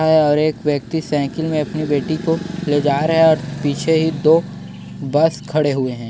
और एक व्यक्ति साइकिल में अपनी बेटी को ले जा रहा है और पीछे ही दो बस खड़े हुए है।